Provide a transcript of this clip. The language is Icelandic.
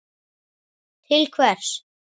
Til hvers?